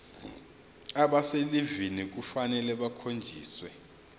abaselivini kufanele bakhonjiswe